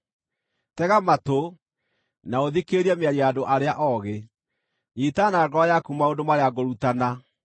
Tega matũ, na ũthikĩrĩrie mĩario ya andũ arĩa oogĩ; nyiita na ngoro yaku maũndũ marĩa ngũrutana,